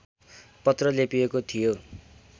पत्र लेपिएको थियो